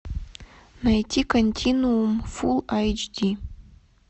найти континуум фул эйч ди